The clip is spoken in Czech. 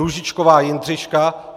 Růžičková Jindřiška